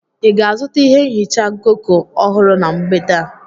Ị ga-azụta ihe nhicha Goko ọhụrụ na mgbede a?